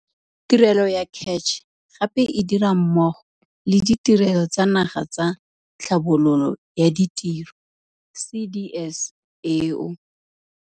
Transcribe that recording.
Tirelo ya CACH gape e dira mmogo le Ditirelo tsa Naga tsa Tlhabololo ya Ditiro, CDS, eo.